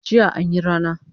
Jiya anyi rana